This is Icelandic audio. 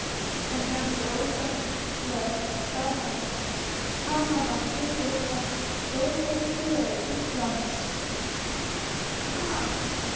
Og heldur ósennileg staðhæfing: PANAMA HLUTI AF STÓRFENGLEIK INDLANDS.